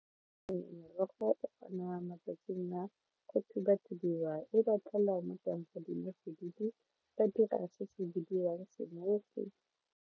Merogo matsatsing a go thuba thubiwa e ba ba dira se se bidiwang .